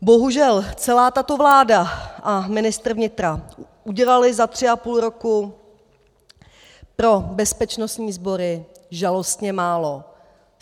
Bohužel celá tato vláda a ministr vnitra udělali za tři a půl roku pro bezpečnostní sbory žalostně málo.